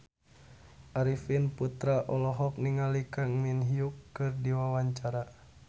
Arifin Putra olohok ningali Kang Min Hyuk keur diwawancara